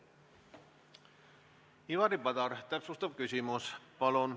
Ivari Padar, täpsustav küsimus, palun!